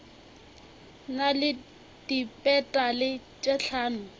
na le dipetale tše hlano